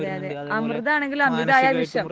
അമൃത് ആണെങ്കിലും അമൃതായാൽ വിഷം